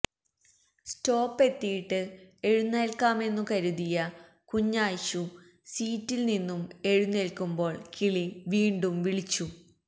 stop എത്തിയിട്ട് എഴുന്നേല്ക്കാമെന്നു കരുതിയ കുഞായിശു സീറ്റില് നിന്നും എഴുന്നേല്ക്കുമ്പോള് കിളി വീണ്ടും വിളിച്ചു